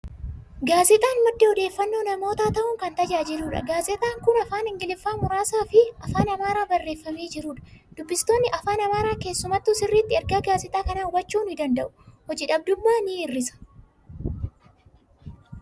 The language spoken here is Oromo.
Gaazexaan madda odeeffannoo namootaa ta'uun kan tajaajiludha. Gaaazexaan kun afaan Ingiliffaa muraasaa fi afaan Amaaraa barreeffamee jirudha. Dubbistoonni afaan Amaaraa keessumattuu sirriitti ergaa gaazexaa kanaa hubachuu ni danda'u. Hojii dhabdummaa ni hir'isa.